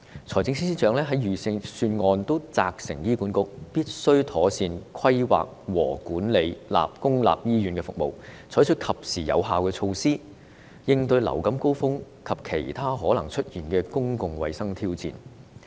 財政司司長在預算案責成醫管局必須妥善規劃和管理公立醫院服務，採取及時有效的措施，應對流感高峰及其他可能出現的公共衞生挑戰。